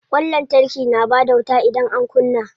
Ƙwan lantarki na bada wuta idan an kunna.